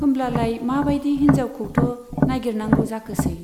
होमब्लालाय मा बाइदि हिन्जावखौथ' नाइगिरनांगौ जाखोसै ?